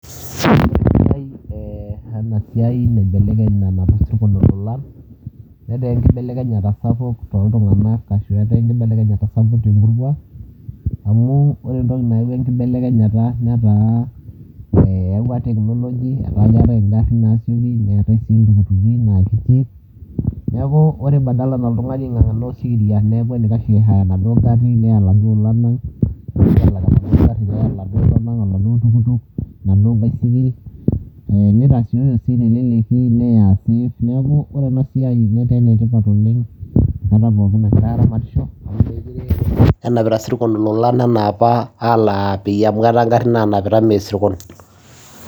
Ore pee eibelekenye ena siai nanap isirkon ilolan, netaa enkibelekenyata sapuk toltungani ashu netaa enkibelekenyata sapuk temurua, amu ore entoki nayaua enkibelekenyata netaa eyaua teknology. Etaa keetae ngarin neetae sii iltukutuki. Neeku ore badala nalo oltungani aingangana osikiria neeku enaikash nelo aihire enaduo gari neya laduo olan ang, toladuo tukutuk tenaduo baisikil, nitasioyo sii teleleki neya. Neeku ore ena siai netaa enetipat oleng enkata pookin nagirae aramatisho, nenap ngarin lolan mookure anaapa isirkon.